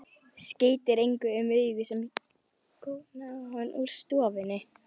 Skeytir engu um augu sem góna á hann úr stofunni.